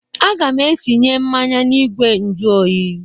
Aga m etinye mmanya n'igwe njụ oyi.